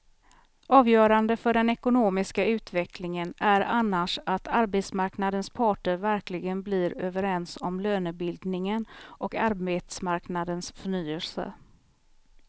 Avgörande för den ekonomiska utvecklingen är annars att arbetsmarknadens parter verkligen blir överens om lönebildningen och arbetsmarknadens förnyelse.